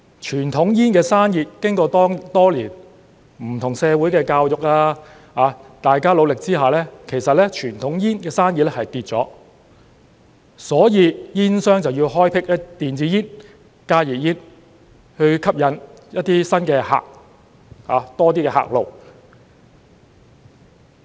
傳統煙的生意經過多年不同的社會教育及大家的努力之下，其實傳統煙的生意已下跌，所以煙商就要開闢電子煙、加熱煙，以吸引新客，多一些客路。